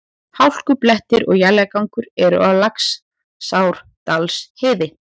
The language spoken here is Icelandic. Hálkublettir og éljagangur eru á Laxárdalsheiði